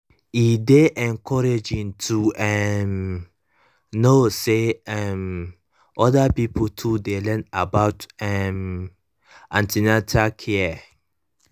e dey encouraging to um know say um other pipo too dey learn about um an ten atal care